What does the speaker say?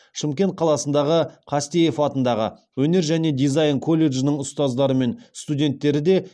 шымкент қаласындағы қастеев атындағы өнер және дизайн колледжінің ұстаздары мен студенттері де